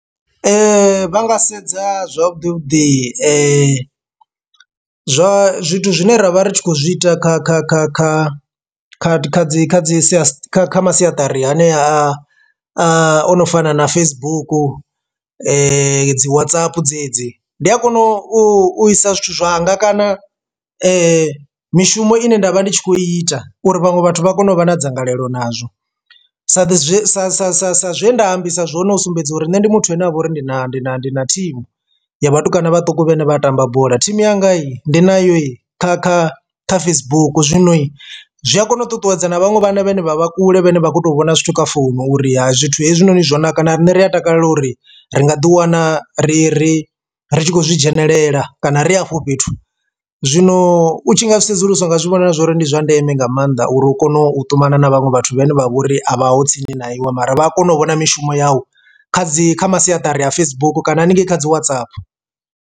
Vha nga sedza zwavhuḓi vhuḓi zwa zwithu zwine ra vha ri khou zwi ita kha kha kha kha kha kha dzi kha dzi sia kha masiaṱari anea a ano fana na Facebook dzi WhatsApp dzedzi. Ndi a kona u isa zwithu zwanga kana mishumo ine nda vha ndi tshi khou ita uri vhaṅwe vhathu vha kone u vha na dzangalelo nazwo sa zwe sa sa sa sa zwe nda ambisa zwone u sumbedza uri nṋe ndi muthu ane avha uri ndi na ndi na ndi na thimu ya vhatukana vhaṱuku vhane vha tamba bola thimu yanga i ndi na yo kha kha kha Facebook zwino zwi a kona u ṱuṱuwedza na vhaṅwe vhana vhane vha vha kule vhane vha kho to vhona zwithu kha founu uri ha zwithu hezwinoni zwo naka na riṋe ri a takalela uri ri nga ḓi wana ri ri ri tshi khou zwi dzhenelela kana ri hafho fhethu. Zwino u tshi nga zwi sedzuluswa u nga zwi vhona zwori ndi zwa ndeme nga maanḓa uri u kone u ṱumana na vhaṅwe vhathu vhene vha vhori a vha ho tsini na iwe mara vha a kona u vhona mishumo yau kha dzi kha masiaṱari a Facebook kana haningei kha dzi WhatsApp.